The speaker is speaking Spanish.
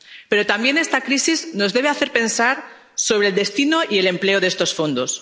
Pero también esta crisis nos debe hacer pensar sobre el destino y el empleo de estos fondos.